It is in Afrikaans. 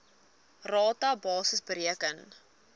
rata basis bereken